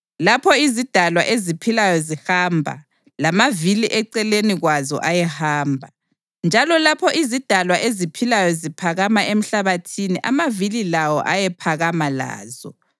Lapho izidalwa eziphilayo zihamba, lamavili eceleni kwazo ayehamba, njalo lapho izidalwa eziphilayo ziphakama emhlabathini amavili lawo ayephakama lazo.